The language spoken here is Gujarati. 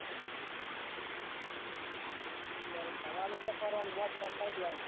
યાર ફરવાનું એટલે ફરવાનું મોજ શોખ કર દેવાના